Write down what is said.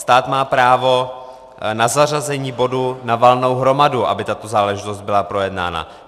Stát má právo na zařazení bodu na valnou hromadu, aby tato záležitost byla projednána.